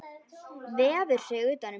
Vefur sig utan um mína.